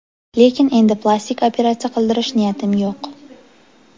Lekin endi plastik operatsiya qildirish niyatim yo‘q”.